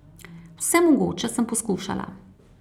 Vse mogoče sem poskušala.